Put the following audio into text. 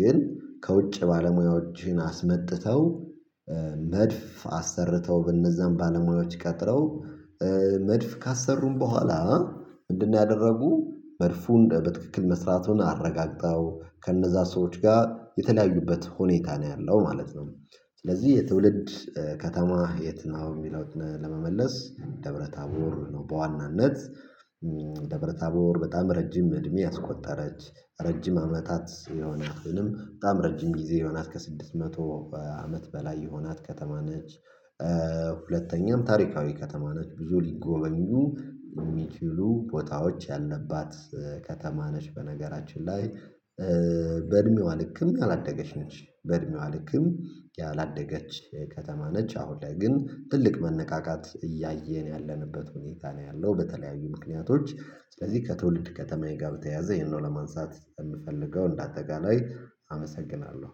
ግን ከውጭ ባለሙያዎችን አስመጥተው መድፍ አሰርተው በነዛን ባለሙያዎች ቀጥረው መድፍ ካሰሩም በኋላ ምንድነው አደረጉ መድፉን በትክክል መስራቱን አረጋግጠው ከእነዛ ሰዎች ጋር የተለያዩበት ሁኔታ ነው ያለው ማለት ነው። ስለዚህ የትውልድ ከተማህ የትነው? የሚለውን ለመመለስ ደብረ ታቦር ነው በዋናነት ደብረ ታቦር በጣም ረጅም እድሜ ያስቆጠረች ረጅም አመታት የሆነች በጣም ረጅም ጊዜ የሆናት ከስድስት መቶ አመት በላይ የሆናት ከተማ ነች። ሁለተኛም ታሪካዊ ከተማ ነች ብዙ ሊጎበኙ የሚችሉ ቦታዎች ያለባት ከተማ ነች። በነገራችን ላይ በእድሜዋ ልክም ያላደገች ነች። በእድሜዋ ልክም ያላደገች ከተማ ነች አሁን ላይ ግን ትልቅ መነቃቃት እያየን ያለንበት ሁኔታ ነው ያለው። በተለያዩ ምክንያቶች ስለዚህ ከትውልድ ከተማዬ ጋር በተያያዘ ይሄንን ለማንሳት የምፈልገው እንዳጠቃላይ አመሰግናለሁ